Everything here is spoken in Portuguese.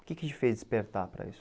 O que que te fez despertar para isso?